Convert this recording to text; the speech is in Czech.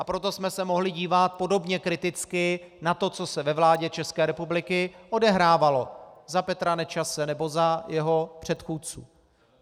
A proto jsme se mohli dívat podobně kriticky na to, co se ve vládě České republiky odehrávalo za Petra Nečase nebo za jeho předchůdců.